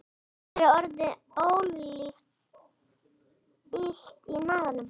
Mér er orðið illt í maganum